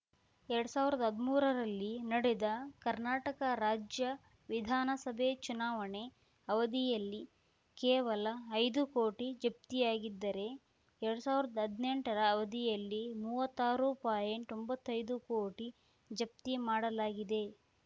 ಎರಡ್ ಸಾವಿರ್ದಾ ಹದ್ಮೂರರಲ್ಲಿ ನಡೆದ ಕರ್ನಾಟಕ ರಾಜ್ಯ ವಿಧಾನಸಭೆ ಚುನಾವಣೆ ಅವಧಿಯಲ್ಲಿ ಕೇವಲ ಐದು ಕೋಟಿ ಜಪ್ತಿಯಾಗಿದ್ದರೆ ಎರಡ್ ಸಾವಿರ್ದಾ ಹದ್ನೆಂಟರ ಅವಧಿಯಲ್ಲಿ ಮೂವತ್ತಾರುಒಂಬತ್ತಯ್ದು ಕೋಟಿ ಜಪ್ತಿ ಮಾಡಲಾಗಿದೆ